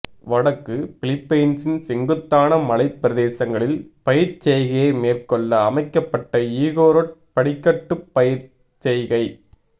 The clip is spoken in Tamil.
வடக்குப் பிலிப்பைன்சின் செங்குத்தான மலைப் பிரதேசங்களில் பயிர்ச்செய்கையை மேற்கொள்ள அமைக்கப்பட்ட இகோரொட் படிக்கட்டுப் பயிர்ச்செய்கை